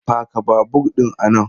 Paka babur ɗin a nan!